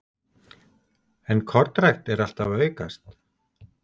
En kornrækt er alltaf að aukast?